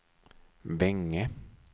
Vänge